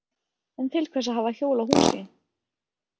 En til hvers að hafa hjól á húsi?